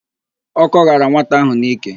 Ọ́kọ́ ghara nwata áhụ̀ n'íkè.